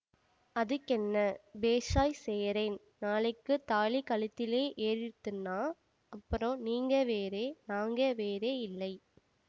அதுக்கென்ன பேஷாய்ச் செய்யறேன் நாளைக்குத் தாலி கழுத்திலே ஏறிடுத்துன்னா அப்புறம் நீங்க வேறே நாங்க வேறேயில்லை